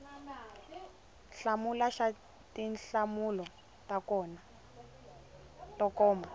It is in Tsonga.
hlamula xa tinhlamulo to koma